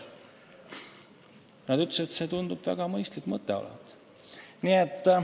Nad ütlesid, et see tundub väga mõistlik mõte olevat.